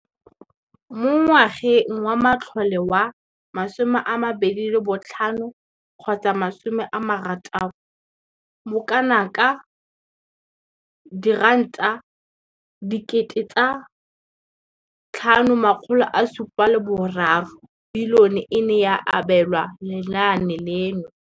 Mo ngwageng wa matlole wa 2015,16, bokanaka R5 703 bilione e ne ya abelwa lenaane leno.